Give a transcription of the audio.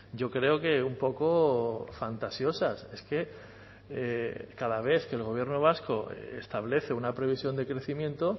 yo creo que un poco fantasiosas es que cada vez que el gobierno vasco establece una previsión de crecimiento